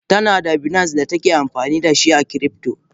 Tanada binance datake amfanidashi a cryptor.